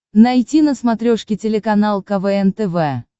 найти на смотрешке телеканал квн тв